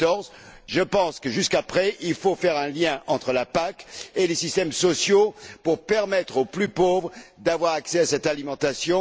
2014. Je pense qu'après, il faudra faire un lien entre la PAC et les systèmes sociaux pour permettre aux plus pauvres d'avoir accès à cette alimentation.